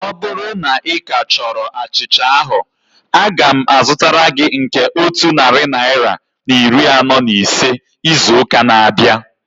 Ọ bụrụ na ika chọrọ achịcha ahu, aga m azụtara gị nke otu narị naira na iri anọ na ise izu ụka na-abịa